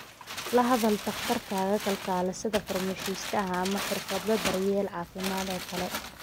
La hadal dhakhtarkaaga, kalkaalisada, farmashiistaha, ama xirfadle daryeel caafimaad oo kale.